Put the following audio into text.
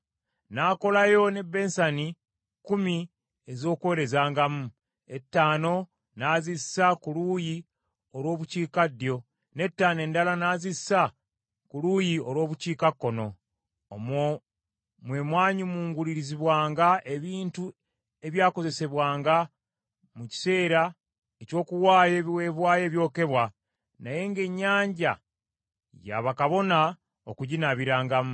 N’akolayo ne bensani kkumi ez’okwolezangamu, etaano n’azissa ku luuyi olw’obukiikaddyo, n’ettaano endala n’azissa ku luuyi olw’obukiikakkono. Omwo mwe mwanyumungulizibwanga ebintu ebyakozesebwanga mu kiseera eky’okuwaayo ebiweebwayo ebyokebwa, naye ng’Ennyanja ya bakabona okuginaabirangamu.